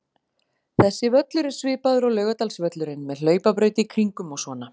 Þessi völlur er svipaður og Laugardalsvöllurinn, með hlaupabraut í kringum og svona.